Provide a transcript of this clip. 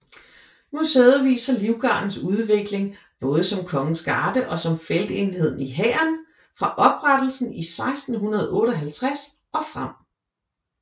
Museet viser Livgardens udvikling både som kongens garde og som feltenhed i hæren fra oprettelsen i 1658 og frem